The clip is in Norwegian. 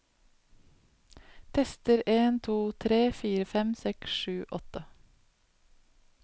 Tester en to tre fire fem seks sju åtte